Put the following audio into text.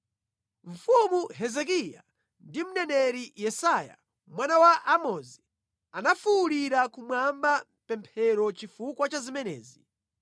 Mfumu Hezekiya ndi mneneri Yesaya mwana wa Amozi anafuwulira kumwamba mʼpemphero chifukwa cha zimenezi.